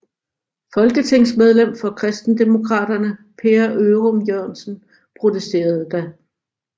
Folketingsmedlem for Kristendemokraterne Per Ørum Jørgensen protesterede da